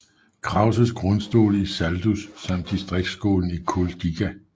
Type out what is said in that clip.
Krauses grundskole i Saldus samt distriktsskolen i Kuldīga